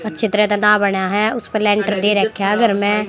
अच्छी तरह ददा बना है उस पर लिंटर दे रख्या है घर में--